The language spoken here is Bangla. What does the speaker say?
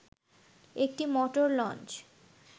একটি মোটর লঞ্চ